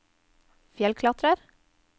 fjellklatrer